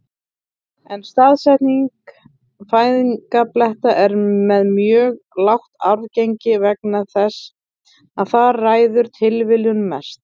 En staðsetning fæðingarbletta er með mjög lágt arfgengi vegna þess að þar ræður tilviljun mestu.